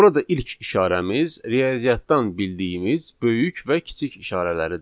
Burada ilk işarəmiz riyaziyyatdan bildiyimiz böyük və kiçik işarələridir.